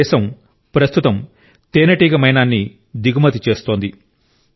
మన దేశం ప్రస్తుతం తేనెటీగ మైనాన్ని దిగుమతి చేస్తుంది